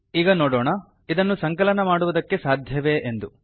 ಈಗ ನೋಡೋಣ ಇದನ್ನು ಸಂಕಲನ ಮಾಡುವುದಕ್ಕೆ ಸಾಧ್ಯವೇ ಎಂದು